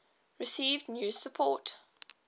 received new support